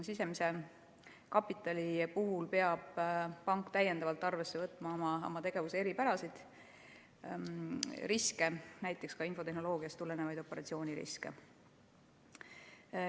Sisemise kapitali puhul peab pank arvesse võtma oma tegevuse eripärasid, riske, näiteks infotehnoloogiast tulenevaid operatsiooniriske.